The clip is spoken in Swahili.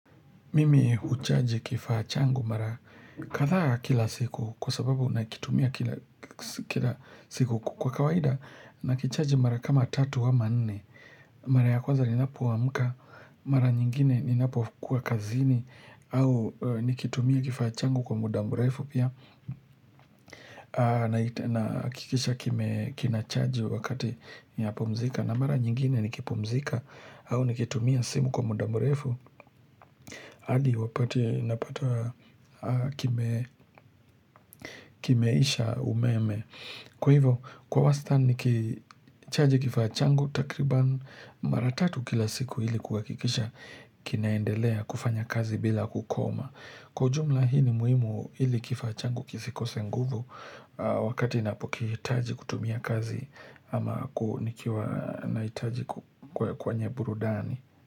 Mimi huchaji kifaa changu mara kadhaa kila siku kwa sababu nakitumia kila siku kwa kawaida nakichaji mara kama tatu ama nne Mara ya kwanza ninapoamka, mara nyingine ninapokua kazini au nikitumia kifaa changu kwa muda mrefu pia nahakikisha kime kinachaji wakati ya pumzika na mara nyingine nikipumzika au nikitumia simu kwa muda mrefu hadi wapate napata kimeisha umeme. Kwa hivyo, kwa wasta ni kichaji kifaa changu takriban maratatu kila siku hili kuakikisha kinaendelea kufanya kazi bila kukoma. Kwa ujumla hii ni muhimu hili kifaa changu kisi kose nguvu wakati inapo kitaji kutumia kazi ama nikiwa naitaji kwenye burudani.